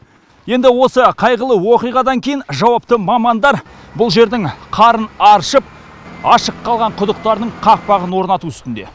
енді осы қайғылы оқиғадан кейін жауапты мамандар бұл жердің қарын аршып ашық қалған құдықтардың қақпағын орнату үстінде